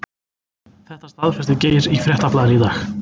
Þetta staðfesti Geir í Fréttablaðinu í dag.